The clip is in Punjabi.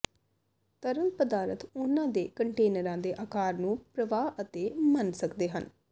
ਤਰਲ ਪਦਾਰਥ ਉਹਨਾਂ ਦੇ ਕੰਟੇਨਰਾਂ ਦੇ ਆਕਾਰ ਨੂੰ ਪ੍ਰਵਾਹ ਅਤੇ ਮੰਨ ਸਕਦੇ ਹਨ